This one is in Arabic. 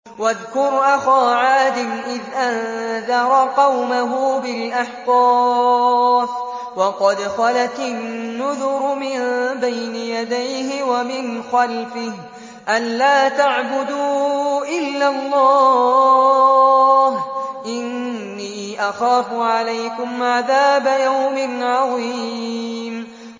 ۞ وَاذْكُرْ أَخَا عَادٍ إِذْ أَنذَرَ قَوْمَهُ بِالْأَحْقَافِ وَقَدْ خَلَتِ النُّذُرُ مِن بَيْنِ يَدَيْهِ وَمِنْ خَلْفِهِ أَلَّا تَعْبُدُوا إِلَّا اللَّهَ إِنِّي أَخَافُ عَلَيْكُمْ عَذَابَ يَوْمٍ عَظِيمٍ